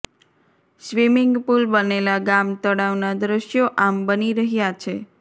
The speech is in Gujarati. સ્વિમિંગ પુલ બનેલા ગામ તળાવનાં દૃશ્યો આમ બની રહ્યા છે